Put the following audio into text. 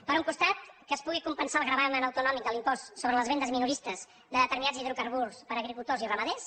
per un costat que es pugui compensar el gravamen autonòmic de l’impost sobre les vendes minoristes de determinats hidrocarburs per agricultors i ramaders